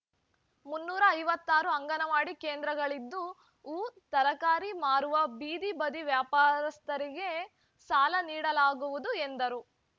ಮುನ್ನೂರ ಐವತ್ತ್ ಆರು ಅಂಗನವಾಡಿ ಕೇಂದ್ರಗಳಿದ್ದು ಹೂ ತರಕಾರಿ ಮಾರುವ ಬೀದಿ ಬದಿ ವ್ಯಾಪಾರಸ್ಥರಿಗೆ ಸಾಲ ನೀಡಲಾಗುವುದು ಎಂದರು